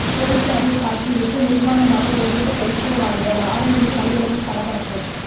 போலீசாரை தாக்கிவிட்டு நிர்வாணமாக ஓடிய சைக்கோ வாலிபர் ஆரணியில் நள்ளிரவில் பரபரப்பு